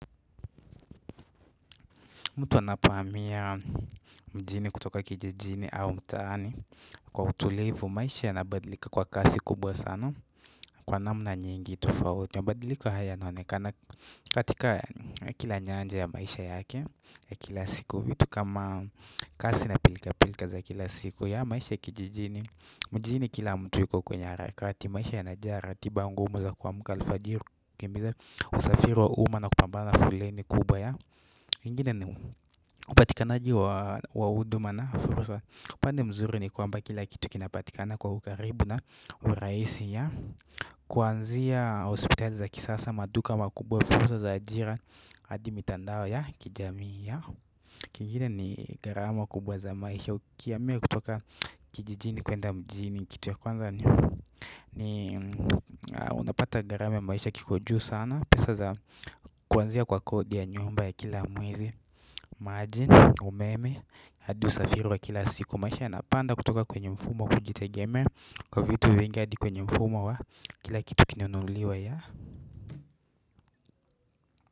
Mtu anapohamia mjini kutoka kijijini au mtaani kwa utulivu, maisha yanabadilika kwa kasi kubwa kwa namna nyingi tofauti. Mabadiliko haya yanaonekana katika kila nyanja ya maisha yake ya kila siku. Vitu kama kasi na pilkapilka za kila siku ya maisha kijijini mjini kila mtu yuko kwenye harakati. Maisha yanajaa ratiba ngumu za kuamka alfajiri kukimbiza usafiri wa umma na kupambana na foleni kubwa ya. Ingine ni upatikanaji wa huduma na fursa. Upande mzuri ni kwamba kila kitu kinapatikana kwa ukaribu na urahisi ya. Kuanzia hospitali za kisasa, maduka makubwa, fursa za ajira hadi mitandao ya kijamii ya. Kingine ni gharama kubwa za maisha. Ukihamia kutoka kijijini kuenda mjini kitu ya kwanza ni, unapata gharama ya maisha kiko juu sana, kuanzia kwa kodi ya nyumba ya kila mwezi maji, umeme hadi usafiri wa kila siku. Maisha yanapanda kutoka kwenye mfumo wa kujitegemea kwa vitu vingi hadi kwenye mfumo wa kila kitu kinunuliwe ya.